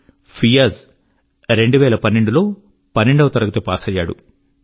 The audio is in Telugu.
ఫియాజ్ 2012 లో 12 వ తరగతి పాసయినాడు